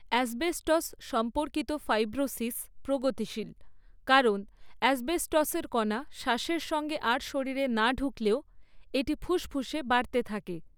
Asbestos সম্পর্কিত fibrosis প্রগতিশীল কারণ অ্যাসবেস্টসের কণা শ্বাসের সঙ্গে আর শরীরে না ঢুকলেও এটি ফুসফুসে বাড়তে থাকে।